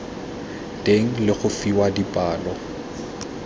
teng le go fiwa dipalo